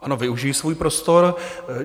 Ano, využiji svůj prostor.